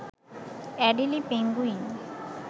Adelie penguin